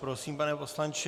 Prosím, pane poslanče.